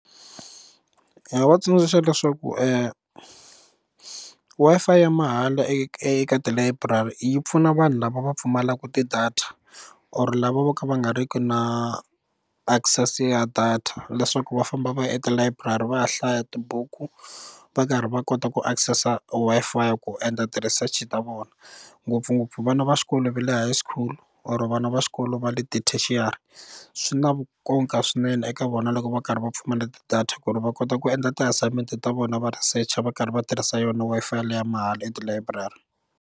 Ndzi nga va tsundzuxa leswaku Wi-Fi ya mahala eka tilayiburari yi pfuna vanhu lava va pfumalaka tidata or lava vo ka va nga ri ki na access ya data leswaku va famba va ya etilayiburari va ya hlaya tibuku va karhi va kota ku access-a Wi-Fi ku endla ti research ta vona ngopfungopfu vana va xikolo va le high school or vana va xikolo va le tertiary swi na nkoka swinene eka vona loko va karhi va pfumala tidata ku ri va kota ku endla tiassignment ta vona va researcher va karhi va tirhisa yona Wi-Fi leyi mahala etilayiburari.